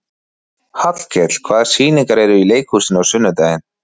Hallkell, hvaða sýningar eru í leikhúsinu á sunnudaginn?